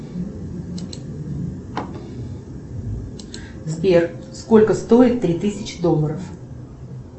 сбер сколько стоит три тысячи долларов